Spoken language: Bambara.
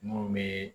Mun be